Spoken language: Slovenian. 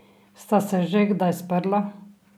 Sta se že kdaj sprla?